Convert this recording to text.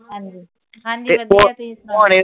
ਹਾਂਜੀ, ਹਾਂਜੀ ਵਧੀਆ ਤੁਸੀਂ ਸੁਣਾਓ?